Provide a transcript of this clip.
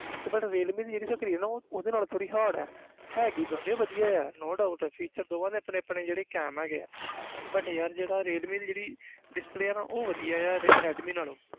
ਤੇ but Realme ਦੀ ਜਿਹੜੀ screen ਆ ਉਹ ਉਸਦੇ ਨਾਲੋਂ ਥੋੜ੍ਹੀ hard ਹੈ ਹੈਗੀ ਦੋਨੋਂ ਹੀ ਵਧੀਆ ਹੈ no doubt feature ਦੋਵਾਂ ਦੇ ਆਪਣੇ ਆਪਣੇ ਜਿਹੜੇ ਕੈਮ ਹੈਗੇ ਹੈ but ਯਾਰ ਜਿਹੜਾ ਰੀਅਲਮੀ ਦੀ ਜਿਹੜੀ display ਆ ਨਾ ਉਹ ਵਧੀਆ ਆ ਰ~ ਰੈਡਮੀ ਨਾਲੋਂ।